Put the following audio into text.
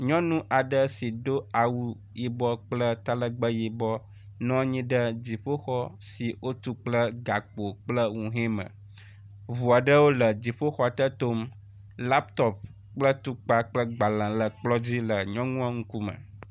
Nyɔnui aɖe si do awu yibɔ kple talegbe yibɔ nɔ anyi ɖe dziƒoxɔ si wotu kple gakpo kple nuhe me. Ŋu aɖewo le dziƒoxɔ te tom. Laptop kple kple tukpa gbalẽ le kplɔ dzi le nyɔnua ƒe ŋkume